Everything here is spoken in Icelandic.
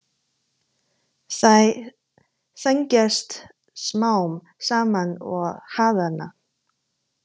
Þær þrengjast smám saman og harðna.